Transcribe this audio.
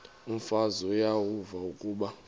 umfazi uyavuya kuba